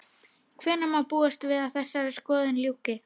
Hvenær má búast við að þessari skoðun ljúki?